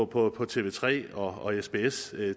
på på tv3 og sbs